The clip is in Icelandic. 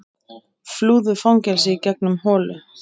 Flúðu fangelsi í gegnum holu